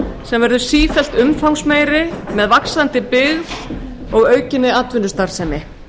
sem verður sífellt umfangsmeiri með vaxandi byggð og aukinni atvinnustarfsemi